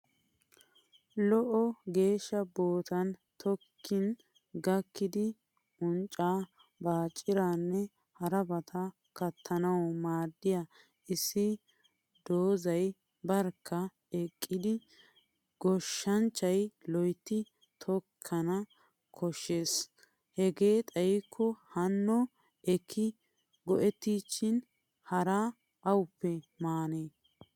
Lo gishsha boottan tokkin gakkidi unccaa, baacciraanne harabata kattanawu maaddiya issi doozzay barkka eqqidi. Goshanchchay loytti tokkana koshshes hegee xayikko hanno ekki go'ettiichchin haraa awuppe maanee.